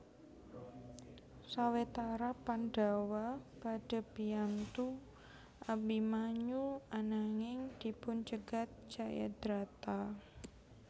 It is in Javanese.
Sawetara Pandhawa badhé biyantu Abimanyu ananging dipun cegat Jayadrata